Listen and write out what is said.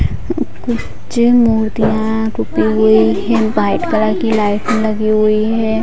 White colour की light लगी हुई है ।